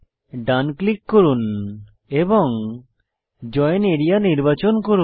ডান click করে join area নির্বাচন করুন